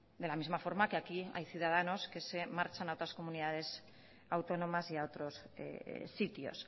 de la misma forma que aquí hay ciudadanos que se marchan a otras comunidades autónomas y a otros sitios